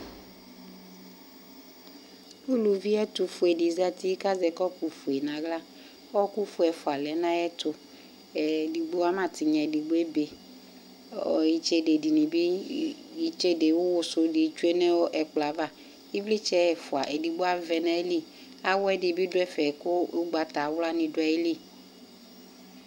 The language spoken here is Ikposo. Uluvi ɛtʋfue dɩ zati kazɛ kɔpʋfue n'aɣla ,ɔɔkʋfue ɛfʋa lɛ n'ayɛtʋ ,ee edigbo ama tɩnya k'edigbo ebe ɛɛ itsede dɩnɩ bɩ , itsede ʋwʋ sʋ dɩ tsue nʋ ɛkplɔɛ ava Ɩvlɩtsɛ ɛfʋa edigbo avɛ n'ayili ,awɛ dɩ lɛn'ɛfɛ kʋ ʋgbatawla nɩ dʋ ayili